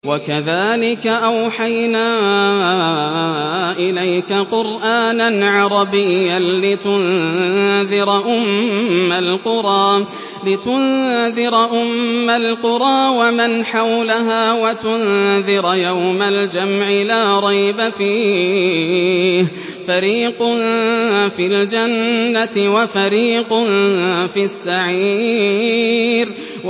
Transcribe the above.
وَكَذَٰلِكَ أَوْحَيْنَا إِلَيْكَ قُرْآنًا عَرَبِيًّا لِّتُنذِرَ أُمَّ الْقُرَىٰ وَمَنْ حَوْلَهَا وَتُنذِرَ يَوْمَ الْجَمْعِ لَا رَيْبَ فِيهِ ۚ فَرِيقٌ فِي الْجَنَّةِ وَفَرِيقٌ فِي السَّعِيرِ